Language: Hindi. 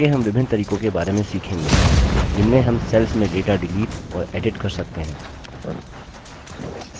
आगे हम विभिन्न तरीकों के बारे में सीखेंगे जिनमें हम cells में data डिलीट और edit कर सकते हैं